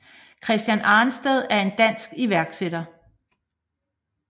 Christian Arnstedt er en dansk iværksætter